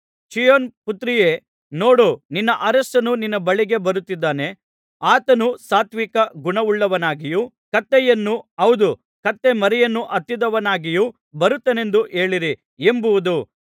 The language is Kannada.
ಚೀಯೋನ್ ಪುತ್ರಿಯೇ ನೋಡು ನಿನ್ನ ಅರಸನು ನಿನ್ನ ಬಳಿಗೆ ಬರುತ್ತಿದ್ದಾನೆ ಆತನು ಸಾತ್ವಿಕ ಗುಣವುಳ್ಳವನಾಗಿಯೂ ಕತ್ತೆಯನ್ನು ಹೌದು ಕತ್ತೆಮರಿಯನ್ನು ಹತ್ತಿದವನಾಗಿಯೂ ಬರುತ್ತಾನೆಂದು ಹೇಳಿರಿ ಎಂಬುದು